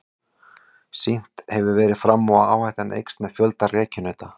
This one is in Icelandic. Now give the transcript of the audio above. Sýnt hefur verið fram á að áhættan eykst með fjölda rekkjunauta.